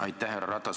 Härra Ratas!